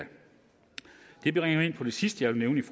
det bringer mig ind på det sidste jeg vil